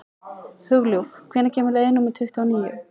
Hugljúf, hvenær kemur leið númer tuttugu og níu?